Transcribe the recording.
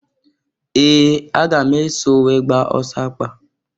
Ee! Aga m eso wee gbaa ọsọ akpa.